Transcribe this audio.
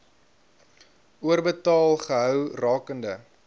oorbetaal gehou rakende